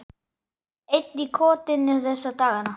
Einn í kotinu þessa dagana.